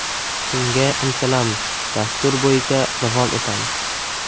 Shunga intilamiz, dastur bo‘yicha davom etamiz.